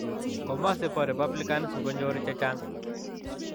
Komosi bo Republicans, ngonyor che chang